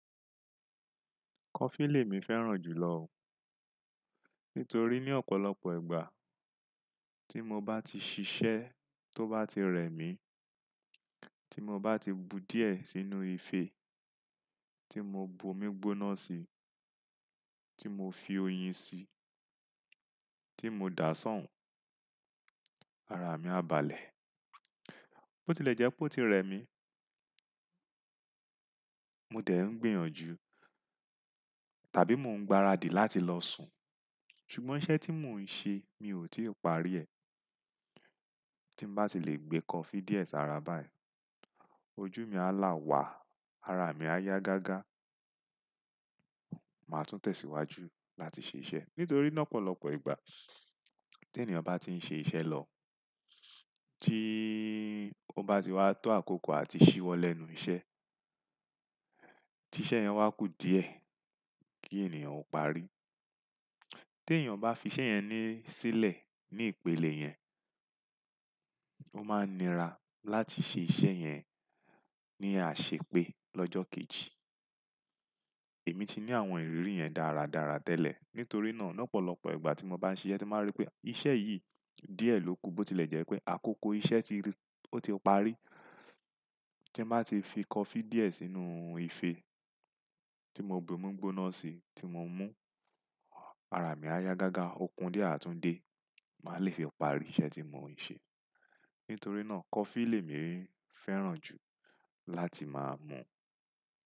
Kọfí lèmi fẹ́ràn jù lọ. Nítorí ní ọ̀pọ̀lọpọ̀ ìgbà tí mo bá ti ṣiṣẹ́ tó bá ti rẹ mí, tí mo bá ti bu díẹ̀ sínú ife, tí mo bo omi gbóná sí i, tí mo fi oyin sí i, tí mo dà á sán, ara mi a balẹ̀. Bó ti ilẹ̀ jẹ́ pé ó ti rẹ mi, mo dẹ̀ ń gbìyànjú tàbí mo ń gbáradì láti lọ sùn. Ṣùgbọ́n iṣẹ́ tí mò ń ṣe mi ò tíì parí ẹ. Tí mo bá ti lè gbé kọfí díẹ̀ sára báyìí, ojú mi á lá wàá, ara mi á yá gágá, màá tún tẹ̀síwájú láti ṣe iṣẹ́. Nítorí lọ́pọ̀lọpọ̀ ìgbà tí ènìyàn bá ti ń ṣe iṣẹ́ lọ, tí ó bá ti wá tó àkókò àti ṣíwọ́ lẹ́nu iṣẹ́, tí iṣẹ́ yẹn wá kù díẹ̀ kí ènìyàn ó parí. Tí ènìyàn bá fi iṣẹ́ yẹn sílẹ̀ ní ìpele yẹn, ó máa nira láti ṣe iṣẹ́ yẹn ní àṣepé lọ́jọ́ kejì. Èmi ti ní àwọn ìrírí yẹn dáradára tẹ́lẹ̀. Nítorí náà lọ́pọ̀lọpọ̀ ìgbà tí mo bá ń ṣe iṣẹ́, tí màá rí pé iṣẹ́ yìí díẹ̀ ló ku. Bó ti ilẹ̀ jẹ́ pé àkókò iṣẹ́ ti rẹ, ó ti parí. Tí mo bá ti fi kọfí díẹ̀ sínú ife tí mo bo omi gbóná sí i tí mo ń mú, ara mi á yá gágá. Òkun díẹ̀ àtún dé, màá lè fẹ́ parí iṣẹ́ tí mò ń ṣe. Nítorí náà kọfí lèmi fẹ́ràn jù láti máa mú.